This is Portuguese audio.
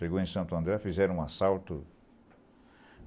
Chegou em Santo André, fizeram um assalto.